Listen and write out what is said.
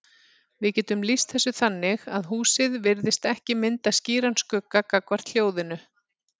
Við getum lýst þessu þannig að húsið virðist ekki mynda skýran skugga gagnvart hljóðinu.